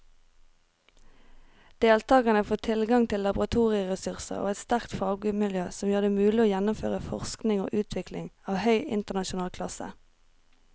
Deltakerne får tilgang til laboratorieressurser og et sterkt fagmiljø som gjør det mulig å gjennomføre forskning og utvikling av høy internasjonal klasse.